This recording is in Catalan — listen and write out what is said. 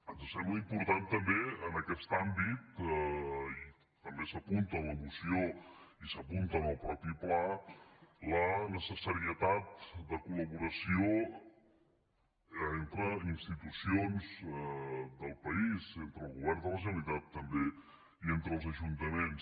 ens sembla important també en aquest àmbit i també s’apunta en la moció i s’apunta en el mateix pla la necessitat de col·laboració entre institucions del país entre el govern de la generalitat també i entre els ajuntaments